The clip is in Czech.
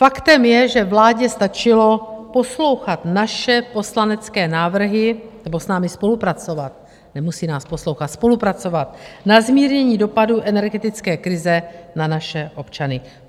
Faktem je, že vládě stačilo poslouchat naše poslanecké návrhy nebo s námi spolupracovat - nemusí nás poslouchat, spolupracovat - na zmírnění dopadů energetické krize na naše občany.